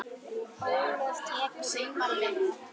Ólöf tekur undir þetta.